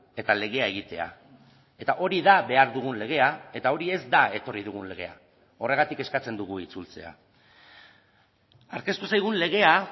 eta legea egitea eta hori da behar dugun legea eta hori ez da etorri dugun legea horregatik eskatzen dugu itzultzea aurkeztu zaigun legea